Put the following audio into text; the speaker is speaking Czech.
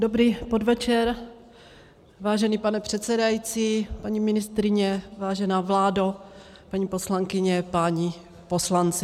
Dobrý podvečer, vážený pane předsedající, paní ministryně, vážená vládo, paní poslankyně, páni poslanci.